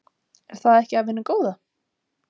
Er það ekki af hinu góða?